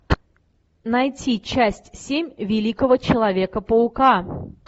найти часть семь великого человека паука